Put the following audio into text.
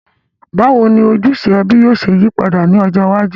Bàwoni ojúse ẹbí yio se le yípadà ni ọjọ́ iwájú?